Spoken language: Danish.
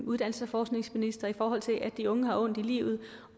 uddannelses og forskningsminister i forhold til at de unge har ondt i livet